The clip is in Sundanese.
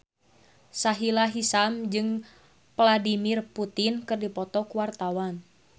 Sahila Hisyam jeung Vladimir Putin keur dipoto ku wartawan